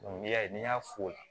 N'i y'a ye n'i y'a f'o la